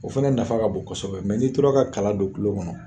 O fɛnɛ nafa ka bon kosɛbɛ mɛ n'i tora ka kala don kulo kɔnɔ